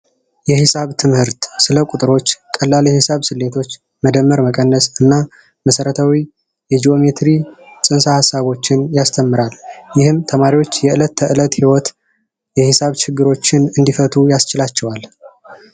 የሒሳብ ትምህርት ስለ ቁጥሮች ቀላል ሂሳብ ስሌቶች መደመር መቀነስ እና መሰረታዊዎችን ያስተምራል ይህም ተማሪዎች የዕለት ተዕለት ይወት የሂሳብ ችግሮችን እንዲፈቱም ያስችላቸዋል